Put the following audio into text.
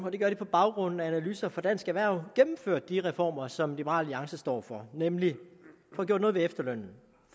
og det gør de på baggrund af analyser fra dansk erhverv gennemførte de reformer som liberal alliance står for nemlig at få gjort noget ved efterlønnen